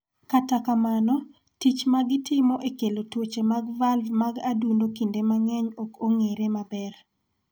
Kata kamano, tich ma gitimo e kelo tuoche mag valv mag adundo kinde mang�eny ok ong�ere maber.